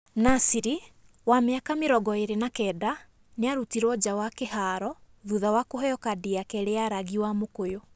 Nasri, wa mĩaka 29, nĩarutirwo nja wa kĩhaaro thutha wa kũheo kandi ya kerĩ ya rangi wa mũkũyũ.